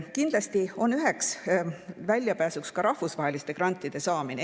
Kindlasti on üheks väljapääsuks ka rahvusvaheliste grantide saamine.